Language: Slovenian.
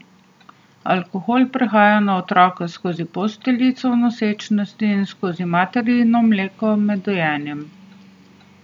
Alkohol prehaja na otroka skozi posteljico v nosečnosti in skozi materino mleko med dojenjem.